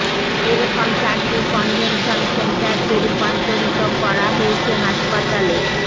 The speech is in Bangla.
এ রকম চারটি কনভেনশন সেন্টারকে রূপান্তরিত করা হয়েছে হাসপাতালে